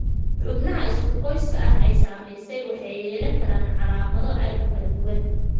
Xubnaha isku qoyska ah ee ay saamaysay waxay yeelan karaan calaamado aad u kala duwan.